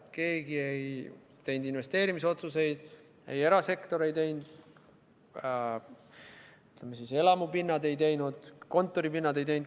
Keegi ei teinud investeerimisotsuseid, ka erasektor ei teinud, ei elamupindade suhtes ega kontoripindade suhtes.